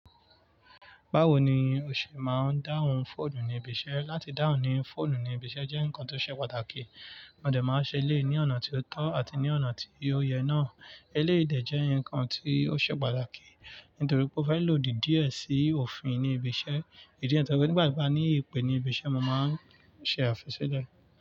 Bawo ni o ṣe máa ń dáhùn fóònù ní ibi iṣẹ́? Láti dáhùn ní fóònù ní ibi iṣẹ́ jẹ́ nǹkan tó ṣe pàtàkì. A dẹ̀ máa ń ṣe eléyii ní ọ̀nà tí ó tọ́ àti ní ọ̀nà tí ó yẹ náà. Eléyii dẹ̀ jẹ́ nǹkan tí ó ṣe pàtàkì, nítorí pé ó fẹ́ lòdì díẹ̀ sí òfin ní ibi iṣẹ́. Ìdí niyen to je pe nígbà ti mo ba ní ìpè ní ibi iṣẹ́, mo máa ń ṣe àfisile.